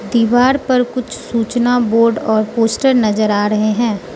दीवार पर कुछ सूचना बोर्ड ओर पोस्टर नजर आ रहे है।